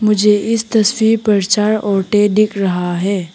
मुझे इस तस्वीर पर चार औरते दिख रहा है।